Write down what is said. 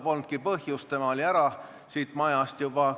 Polnudki põhjust, tema oli siit majast juba ära.